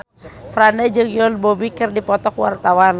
Franda jeung Yoon Bomi keur dipoto ku wartawan